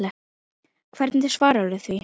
Hvernig svararðu því?